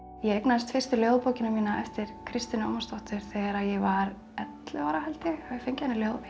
ég eignaðist fyrstu ljóðabókina mína eftir Kristínu Ómarsdóttur þegar ég var ellefu ára held ég ég hafi fengið hana